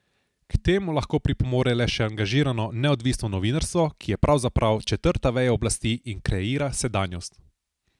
K temu lahko pripomore le še angažirano neodvisno novinarstvo, ki je pravzaprav četrta veja oblasti in kreira sedanjost.